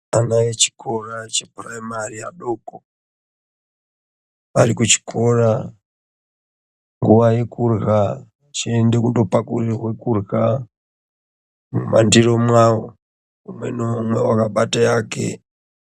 Ana echikora chepuramari adoko, arikuchikora nguwa yekurya achienda kundopakurirwa kurya mumandiro mwawo , umwe naumwe wakabate yake.